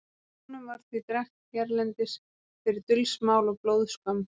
konum var því drekkt hérlendis fyrir dulsmál og blóðskömm